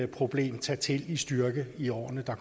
problem tage til i styrke i årene der